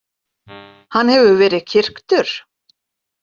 Hann hefur verið kyrktur?